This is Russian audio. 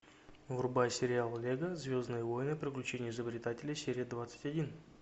врубай сериал лего звездные войны приключения изобретателей серия двадцать один